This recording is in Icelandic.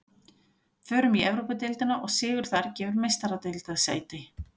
Förum í Evrópudeildina og sigur þar gefur Meistaradeildarsæti.